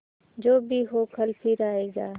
जो भी हो कल फिर आएगा